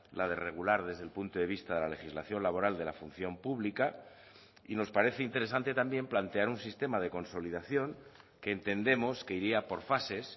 la de regular desde el punto de vista de la legislación laboral de la función pública y nos parece interesante también plantear un sistema de consolidación que entendemos que iría por fases